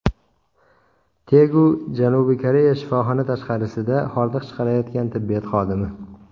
Tegu, Janubiy Koreya Shifoxona tashqarisida hordiq chiqarayotgan tibbiyot xodimi.